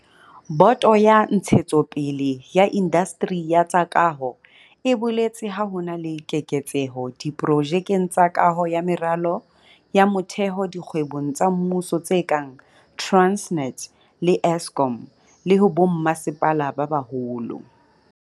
Boto ya Ntshetsopele ya Indasteri ya tsa Kaho e boletse ha ho na le keketseho diprojekeng tsa kaho ya meralo ya motheo dikgwebong tsa mmuso tse kang Transnet le Eskom, le ho bommasepala ba baholo.